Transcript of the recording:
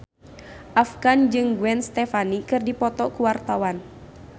Afgan jeung Gwen Stefani keur dipoto ku wartawan